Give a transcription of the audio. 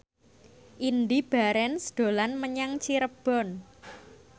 Indy Barens dolan menyang Cirebon